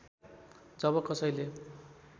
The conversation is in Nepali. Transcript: जब कसैले